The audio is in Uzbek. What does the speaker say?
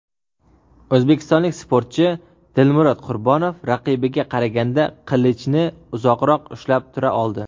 o‘zbekistonlik sportchi Dilmurod Qurbonov raqibiga qaraganda qilichni uzoqroq ushlab tura oldi.